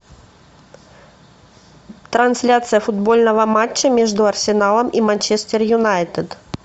трансляция футбольного матча между арсеналом и манчестер юнайтед